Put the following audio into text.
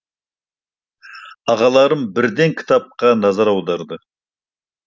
ағаларым бірден кітапқа назар аударды